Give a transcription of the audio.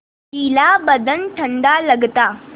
गीला बदन ठंडा लगता